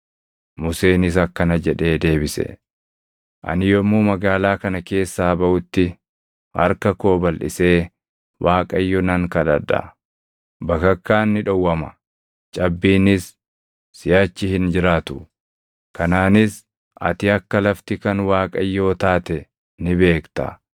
Museenis akkana jedhee deebise; “Ani yommuu magaalaa kana keessaa baʼutti harka koo balʼisee Waaqayyo nan kadhadha. Bakakkaan ni dhowwama; cabbiinis siʼachi hin jiraatu; kanaanis ati akka lafti kan Waaqayyoo taate ni beekta.